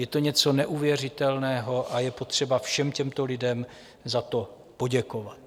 Je to něco neuvěřitelného a je potřeba všem těmto lidem za to poděkovat.